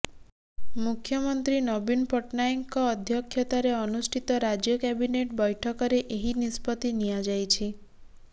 ମୁଖ୍ୟମନ୍ତ୍ରୀ ନବୀନ ପଟ୍ଟନାୟକଙ୍କ ଅଧ୍ୟକ୍ଷତାରେ ଅନୁଷ୍ଠିତ ରାଜ୍ୟ କ୍ୟାବିନେଟ୍ ବୈଠକରେ ଏହି ନିଷ୍ପତ୍ତି ନିଆଯାଇଛି